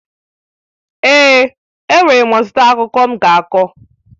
Èè, enwere m ọtụtụ akụkọ m ga-akọ.